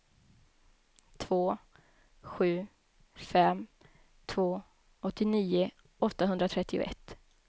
två sju fem två åttionio åttahundratrettioett